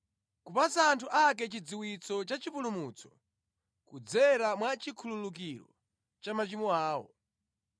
kupatsa anthu ake chidziwitso cha chipulumutso kudzera mwa chikhululukiro cha machimo awo,